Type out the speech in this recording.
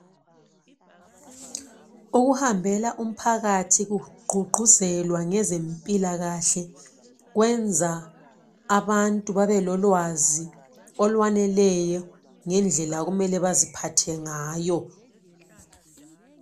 Ukuhambela umphakathi kugqugquzelwa ngezempilakahle kwenza abantu babelolwazi olwaneleyo ngendlela okumele baziphathe ngayo.